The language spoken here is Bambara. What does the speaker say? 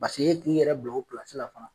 e k'i yɛrɛ bila o la fana.